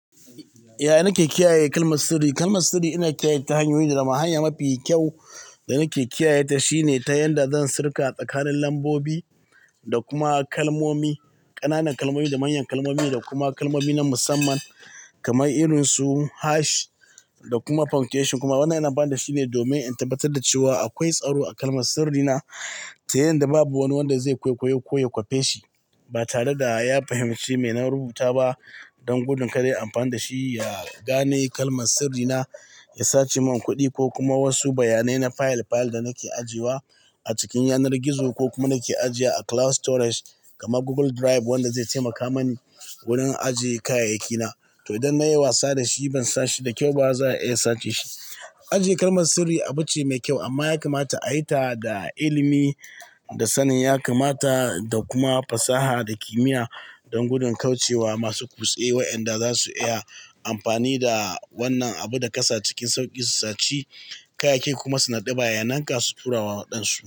Ya, nake kiyaye kalmar sirri. Kalmar sirri ina kiyaye ta hanyoyi da dama. Hanya mafi kyau da nake kiyaye ta shine ta yanda zan sirka a tsakanin lambobi da kuma kalmomi, ƙananan kalmomi da manyan kalmomi da kuma kalmomi na musamman kamar irinsu hash da kuma punctuation. Kuma wanda ina ba da shi ne domin in tabbatar da cewa akwai tsaro a kalmar sirrina ta yanda babu wanda zai kwaikwayi ko ya kwafe shi ba tare da ya fahimci me na rubuta ba. Don gudun kada ya amfani da shi ya gane kalmar sirrina, ya sace mun kuɗi ko kuma wasu bayanai na fayil-fayil da nake ajiye wa a cikin yanar gizo ko kuma nake ajiye a cloud storage kamar Google Drive wanda zai taimaka mani wurin ajiye kayayyaki na. To, idan na yi wasa da shi ban sace shi da kyau ba, za a iya sace shi. Ajiye kalmar sirri abu ce mai kyau amma ya kamata a yi ta da ilimi da sanin. Ya kamata da kuma fasaha da kimiyya don gudun kauce wa masu kutse wa'inda za su iya amfani da wannan abu da kasa cikin sauƙi su sace kayayyaki kuma su naɗuɓa yananka su tura wa waɗansu.